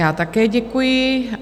Já také děkuji.